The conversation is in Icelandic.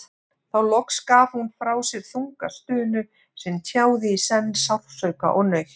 Þá loks gaf hún frá sér þunga stunu sem tjáði í senn sársauka og nautn.